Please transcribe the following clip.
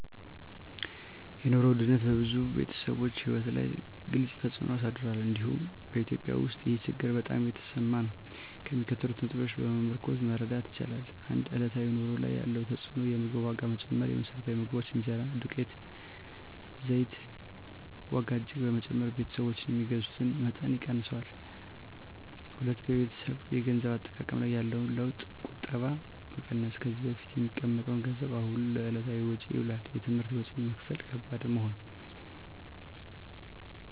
የኑሮ ውድነት በብዙ ቤተሰቦች ሕይወት ላይ ግልፅ ተፅዕኖ አሳድሯል፤ እንዲሁም በEthiopia ውስጥ ይህ ችግር በጣም የተሰማ ነው። ከሚከተሉት ነጥቦች በመመርኮዝ መረዳት ይቻላል፦ 1. በዕለታዊ ኑሮ ላይ ያለው ተፅዕኖ የምግብ ዋጋ መጨመር: የመሰረታዊ ምግቦች (እንጀራ፣ ዱቄት፣ ዘይት) ዋጋ እጅግ በመጨመር ቤተሰቦች የሚገዙትን መጠን ቀንሰዋል። 2. በቤተሰብ የገንዘብ አጠቃቀም ላይ ያለው ለውጥ ቁጠባ መቀነስ: ከዚህ በፊት የሚቀመጥ ገንዘብ አሁን ለዕለታዊ ወጪ ይውላል። የትምህርት ወጪ መክፈል ከባድ መሆን